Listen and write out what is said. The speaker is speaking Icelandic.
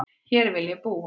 Hér vil ég búa